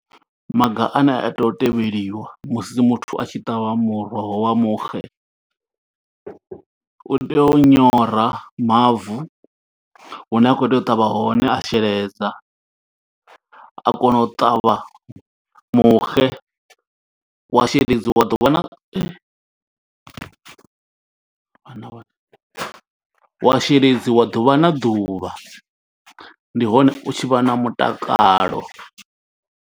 Maga ane a tea u tevheliwa musi muthu a tshi ṱavha muroho wa muxe. U tea u nyora mavu hune a khou tea u ṱavha hone a sheledza, a kona u ṱavha muxe. Wa sheledziwa ḓuvha na vhana. Wa sheledziwa ḓuvha na ḓuvha, ndi hone u tshi vha na mutakalo.